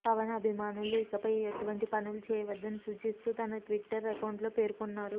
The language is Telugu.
పవన్ అభిమానులు ఇకపై అటువంటి పనులు చేయవద్దని సూచిస్తూ తన ట్విట్టర్ అకౌంట్ లో పేర్కొన్నారు